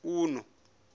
uḓo